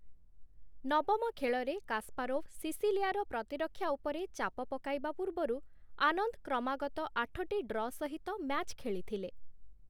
ନବମ ଖେଳରେ କାସପାରୋଭ ସିସିଲିଆର ପ୍ରତିରକ୍ଷା ଉପରେ ଚାପ ପକାଇବା ପୂର୍ବରୁ, ଆନନ୍ଦ କ୍ରମାଗତ ଆଠଟି ଡ୍ର ସହିତ ମ୍ୟାଚ୍‌ ଖେଳିଥିଲେ ।